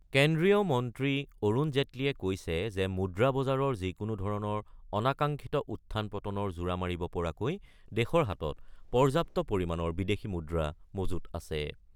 কেন্দ্ৰীয় মন্ত্ৰী অৰুণ জেটলীয়ে কৈছে যে মুদ্ৰা বজাৰৰ যিকোনো ধৰণৰ অনাকাংক্ষিত উত্থান পতনৰ জোৰা মাৰিব পৰাকৈ দেশৰ হাতত পৰ্যাপ্ত পৰিমাণৰ বিদেশী মুদ্ৰা মজুত আছে।